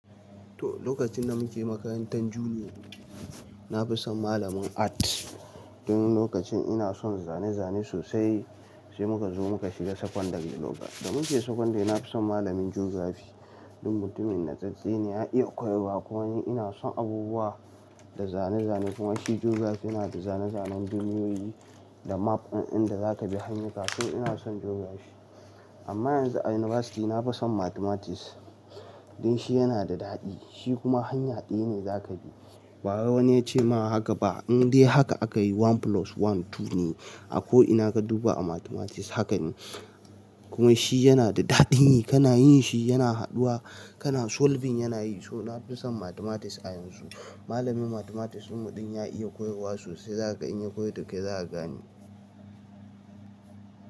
To lokacin na muke makarantan junior na fi son malamin art. Don lokacin ina son zane zane sosai sai muka zo muka shiga secondary lokacin da muke secondary na fi son malamin geography. Don mutumin natsattse ne ya iya koyarwa kuma ina son abubuwa da zane zane kuma shi geography yana da zane zanen duniyoyi da mapwannan da zaka bi hanya ka. To ina son geography amma yanzu a university na fi son mathematics. Don shi yana da daɗi, shi kuma hanya ɗaya ne zaka bi. Bara wani ya ce ma haka ba in dai haka aka yi one plus one two ne a ko ina ka duba a mathematics haka ne. Kuma shi yana da daɗin yi kana yin shi yana haɗuwa kana solving yana yi. To na fi son mathematics a yanzu. Malamin mathematics ɗin ya iya koyarwa sosai zaka iya koyi duk ya gane.